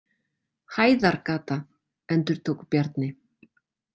Hæðargata, endurtók Bjarni.